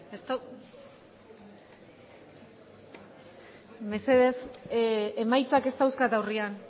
mesedez emaitzak ez dauzkat aurrean